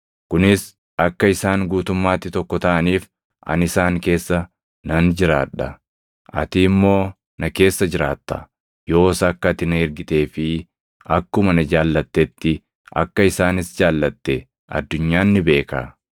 kunis akka isaan guutummaatti tokko taʼaniif ani isaan keessa nan jiraadha; ati immoo na keessa jiraatta. Yoos akka ati na ergitee fi akkuma na jaallattetti akka isaanis jaallatte addunyaan ni beeka.